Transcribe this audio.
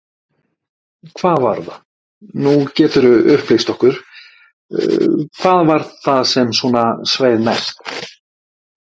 Hvað var það, nú geturðu upplýst okkur, hvað var það sem svona sveið mest?